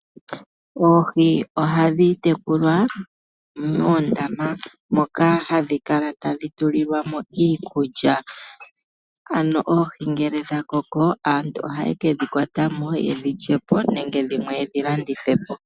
Oohi ohadhi tekulwa moondama moka hadhi kala tadhi tulilwa mo iikulya. Ano oohi ngele dha koko, aantu ohaye ke dhi kwata mo ye dhi lye po nenge dhimwe ye dhi landithe po.